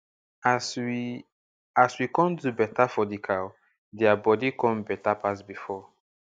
as we as we come do beta for di cow dia bodi come beta pass before